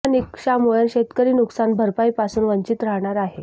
या निकषामुळे शेतकरी नुकसान भरपाई पासून वंचित राहणार आहे